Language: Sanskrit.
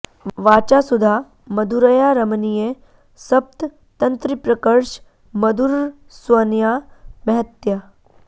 वाचा सुधा मधुरया रमणीय सप्त तन्त्रीप्रकर्श मधुरस्वनया महत्या